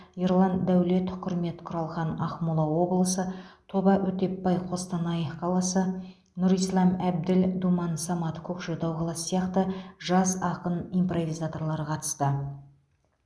ерлан дәулет құрмет құралхан ақмола облысы тоба өтепбай қостанай қаласы нұрислам әбділ думан самат көкшетау қаласы сияқты жас ақын импровизаторлар қатысты